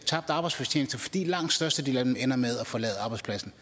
tabt arbejdsfortjeneste fordi langt størstedelen af dem ender med at forlade arbejdspladsen